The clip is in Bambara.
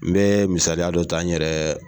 N bɛ misaliya dɔ ta n yɛrɛ